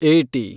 eighty